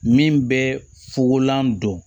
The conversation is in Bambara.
Min bɛ fogolan don